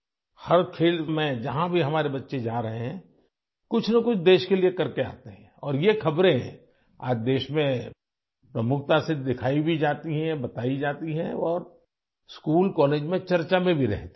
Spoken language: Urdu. ہر کھیل میں ہمارے بچے ، جہاں بھی جاتے ہیں، ملک کے لیے کچھ نہ کچھ کر کے واپس لوٹتے ہیں اور ایسی خبریں آج ملک میں نمایاں طور پر دکھائی جاتی ہیں ، بتائی بھی جاتی ہیں ... اسکولوں اور کالجوں میں زیر بحث بھی رہتی ہیں